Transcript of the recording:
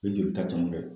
I jolita caman bɛ